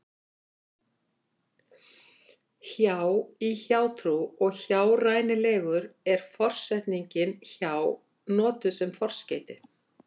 hjá í hjátrú og hjárænulegur er forsetningin hjá notuð sem forskeyti